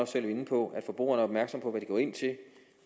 selv inde på at forbrugerne er opmærksom på hvad de går ind til